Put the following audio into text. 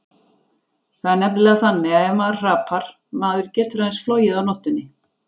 Það er nefnilega þannig ef maður hrapar, maður getur aðeins flogið á nóttunni.